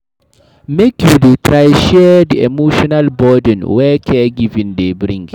Make you dey try share di emotional burden wey caregiving dey bring.